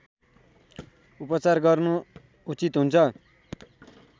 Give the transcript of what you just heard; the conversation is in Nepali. उपचार गर्नु उचित हुन्छ